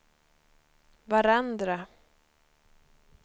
varandra